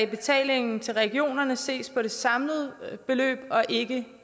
betalingen til regionerne ses på det samlede beløb og ikke